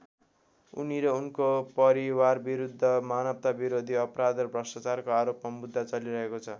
उनी र उनको परिवारविरुद्ध मानवताविरोधी अपराध र भ्रष्टाचारको आरोपमा मुद्दा चलिरहेको छ।